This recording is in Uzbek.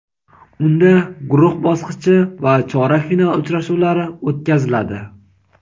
Unda guruh bosqichi va chorak final uchrashuvlari o‘tkaziladi.